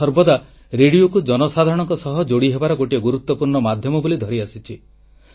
ମୁଁ ସର୍ବଦା ରେଡ଼ିଓକୁ ଜନସାଧାରଣଙ୍କ ସହ ଯୋଡ଼ି ହେବାର ଗୋଟିଏ ଗୁରୁତ୍ୱପୂର୍ଣ୍ଣ ମାଧ୍ୟମ ବୋଲି ଧରି ଆସିଛି